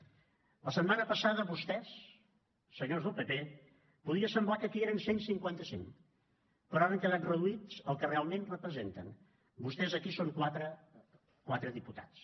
la setmana passada vostès senyors del pp podia semblar que aquí eren cent i cinquanta cinc però ara han quedat reduïts al que realment representen vostès aquí són quatre quatre diputats